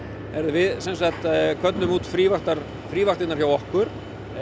við köllum út frívaktirnar hjá okkur